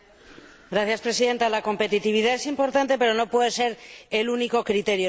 Señora Presidenta, la competitividad es importante, pero no puede ser el único criterio.